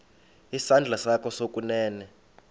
isandla sakho sokunene